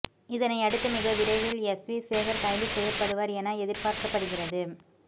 இதனையடுத்து மிகவிரைவில் எஸ் வி சேகர் கைது செய்யப்படுவர் என்று எதிர்பார்க்கப்படுகிறது